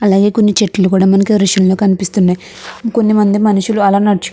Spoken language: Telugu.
అలాగే కొన్ని చెట్లు కూడ మనకి ఈ దృశ్యంలో కనిపిస్తున్నాయి. కొంత మంది మనుషులు అలా నడుచుకున్ --